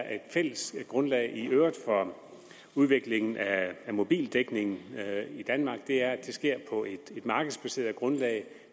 er et fælles grundlag for udviklingen af mobildækningen i danmark er at det sker på et markedsbaseret grundlag